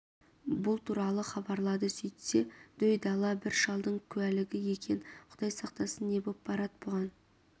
бұл туралы хабарлады сөйтсе дөй дала бір шалдың куәлігі екен құдай сақтасын не боп барад бұған